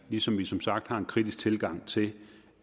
ligesom vi som sagt har en kritisk tilgang til